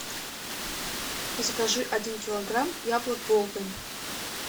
закажи один килограмм яблок голден